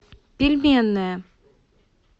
пельменная